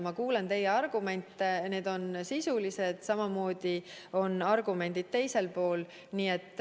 Ma kuulan teie argumente, need on sisulised, aga samamoodi on argumendid teisel pool.